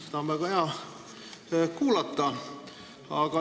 Seda oli väga hea kuulda.